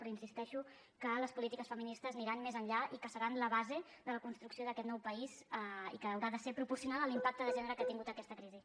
però insisteixo que les polítiques feministes aniran més enllà i que seran la base de la construcció d’aquest nou país i que haurà de ser proporcional a l’impacte de gènere que ha tingut aquesta crisi